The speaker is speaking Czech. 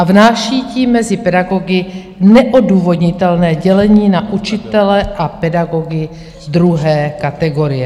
A vnáší tím mezi pedagogy neodůvodnitelné dělení na učitele a pedagogy druhé kategorie.